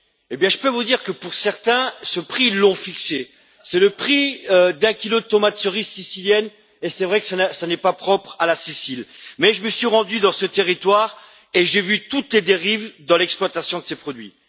Eh bien, je peux vous dire que pour certains, ce prix, ils l'ont fixé c'est le prix d'un kilo de tomates cerises siciliennes, et c'est vrai que cela n'est pas propre à la Sicile, mais je me suis rendu dans ce territoire et j'ai vu toutes les dérives de l'exploitation de ces produits.